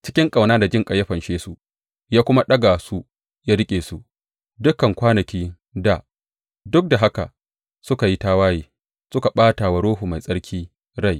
Cikin ƙauna da jinƙai ya fanshe su; ya kuma ɗaga su ya riƙe su dukan kwanakin dā Duk da haka suka yi tawaye suka ɓata wa Ruhu Mai Tsarki rai.